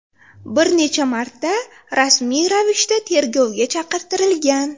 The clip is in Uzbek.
bir necha marta rasmiy ravishda tergovga chaqirtirilgan.